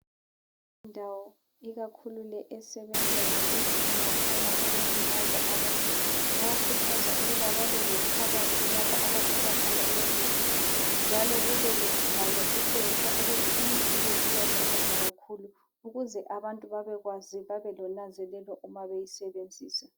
Indawo ikakhulu le esebenza ngemithi engakhona ukulimaza abantu bayakhuthaza ukuthi babe lekhabothi lapho abafaka khona leyi mithi njalo kube lembhalo etshengisa ukuthi imithi le iyalizaza kakhulu ukuze abantu babekwazi babe lonanzelelo uma beyisebenzisa.